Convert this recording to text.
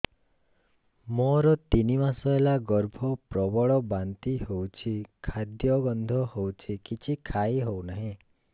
ମୋର ତିନି ମାସ ହେଲା ଗର୍ଭ ପ୍ରବଳ ବାନ୍ତି ହଉଚି ଖାଦ୍ୟ ଗନ୍ଧ ହଉଚି କିଛି ଖାଇ ହଉନାହିଁ